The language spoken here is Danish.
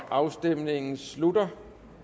afstemningen slutter